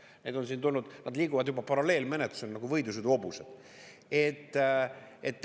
Neid on siin tulnud, nad liiguvad juba paralleelmenetluses nagu võidusõiduhobused.